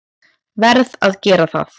Verð að gera það.